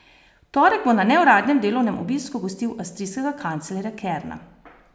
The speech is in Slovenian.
V torek bo na neuradnem delovnem obisku gostil avstrijskega kanclerja Kerna.